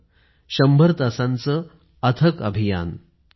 १०० तासांचं अथक अभियान